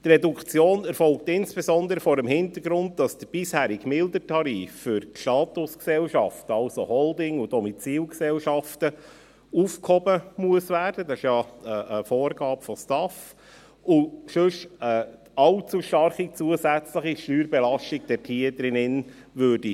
Die Reduktion erfolgt insbesondere vor dem Hintergrund, dass der bisherige mildere Tarif für Statusgesellschaften, also Holding- und Domizilgesellschaften, aufgehoben werden muss – dies ist ja eine Vorgabe der STAF –, weil sonst eine allzu starke zusätzliche Steuerbelastung geschehen würde.